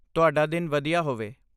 ਤੁਹਾਡਾ ਦਿਨ ਵਧੀਆ ਹੋਵੇ।